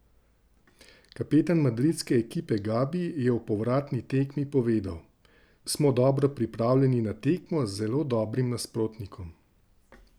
Kapetan madridske ekipe Gabi je o povratni tekmi povedal: 'Smo dobro pripravljeni na tekmo z zelo dobrim nasprotnikom.